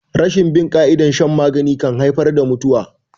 Rashin bin ƙa'idar shan magani kan haifar da mutuwa.